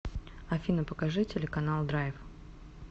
афина покажи телеканал драйв